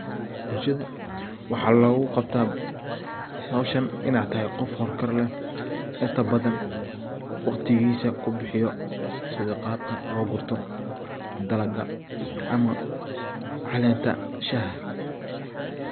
Bulshada waxa logu qabtaa howshan inaa tahay qof howl kar leh, inta badan waqtigisa kubihiyo sidaa qabka loo gurto dalaga ama calenta shaxa.